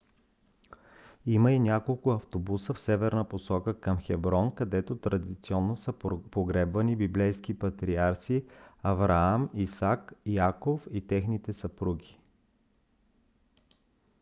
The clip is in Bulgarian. има и няколко автобуса в северна посока към хеброн където традиционно са погребвани библейските патриарси авраам исак яков и техните съпруги